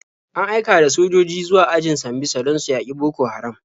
An aika da sojoji zuwa ajin Sambisa don su yaƙi Boko Haram.